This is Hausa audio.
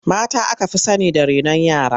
Mata aka fi sani da renon yara.